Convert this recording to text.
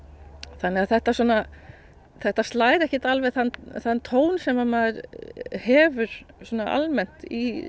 þannig þetta þetta slær ekkert alveg þann tón sem maður hefur almennt í